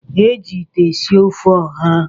E ji ite esi ofe ọha.